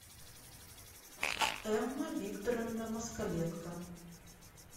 эмма викторовна москаленко